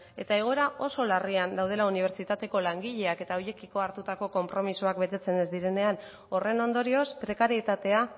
eta egoera oso larrian gaudela unibertsitateko langileak eta horiekiko hartutako konpromisoak betetzen ez direnean horren ondorioz prekarietatea